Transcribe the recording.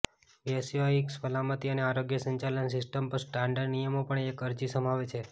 વ્યવસાયિક સલામતી અને આરોગ્ય સંચાલન સિસ્ટમ પર સ્ટાન્ડર્ડ નિયમો પણ એક અરજી સમાવે છે